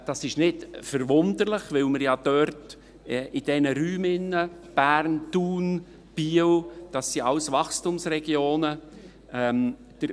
Dies ist nicht verwunderlich, da ja diese Räume dort – Bern, Thun, Biel – alle Wachstumsregionen sind.